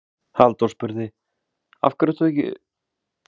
Halldór spurði: Af hverju ert þú ekki í upphlut í kvöld?